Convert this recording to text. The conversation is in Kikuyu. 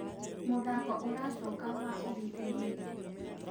mũthako ũracoka wa ũgitĩri nĩ rĩ